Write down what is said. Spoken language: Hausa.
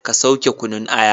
Ka sauke kunun aya!